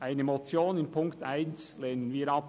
Eine Motion bei Punkt 1 lehnen wir ab.